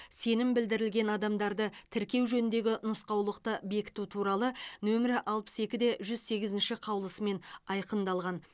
сенім білдірілген адамдарды тіркеу жөніндегі нұсқаулықты бекіту туралы нөмірі алпыс екі де жүз сегізінші қаулысымен айқындалған